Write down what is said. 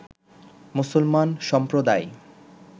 মুসলমান সম্প্রদায়